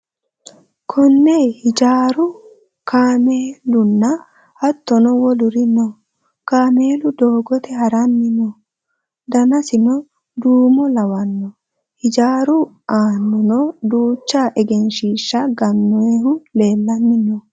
Konne hijaaru, kaamelunna hattono woluri no. Kaamelu doogote haranni no. Danasino duumo lawanno. Hijaaru aanano duucha egensiishsha gannoyihu leellanni no.